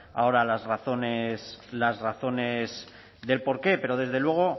ahora las razones del por qué pero desde luego